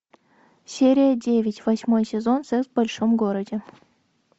серия девять восьмой сезон секс в большом городе